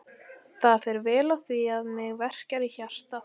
Það fer vel á því að mig verkjar í hjartað.